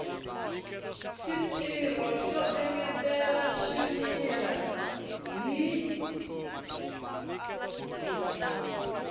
xitirho xo engetela swimila hi